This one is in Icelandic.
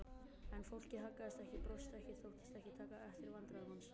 En fólkið haggaðist ekki, brosti ekki, þóttist ekki taka eftir vandræðum hans.